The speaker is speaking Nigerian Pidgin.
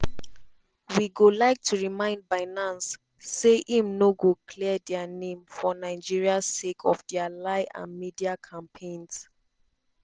“we go like to remind binance say im no go clear dia name for nigeria sake of dia lie and media campaigns.